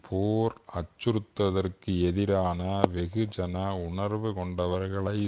போர் அச்சுறுததற்க்கெதிரான வெகுஜன உணர்வு கொண்டவர்களை